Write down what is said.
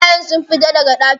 Ɓerayen sun fita daga daki?